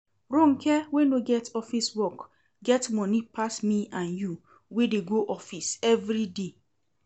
Ronke wey no get office work get money pass me and you wey dey go office everyday